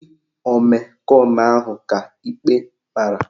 Ndị omekome ahụ ka ikpe mara